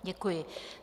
Děkuji.